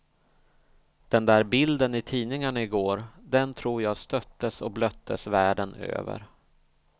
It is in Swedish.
Den där bilden i tidningarna i går, den tror jag stöttes och blöttes världen över.